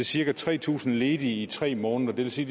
cirka tre tusind ledige i tre måneder det vil sige